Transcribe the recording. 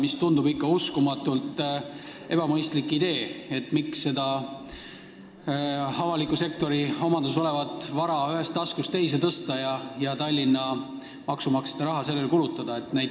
See tundub uskumatult ebamõistlik idee: miks avaliku sektori omandis olevat vara ühest taskust teise tõsta ja Tallinna maksumaksja raha sellele kulutada?